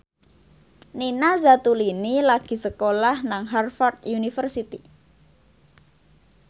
Nina Zatulini lagi sekolah nang Harvard university